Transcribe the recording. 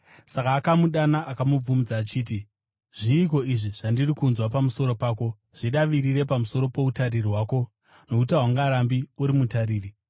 Saka akamudana akamubvunza achiti, ‘Zviiko izvi zvandiri kunzwa pamusoro pako? Zvidavirire pamusoro poutariri hwako, nokuti haungarambi uri mutariri.’